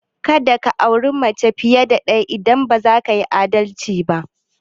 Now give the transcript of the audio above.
Ka da ka auri mace fiye da ɗaya idan ba za ka yi adalci ba!